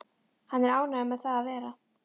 Hann er ánægður með það að vera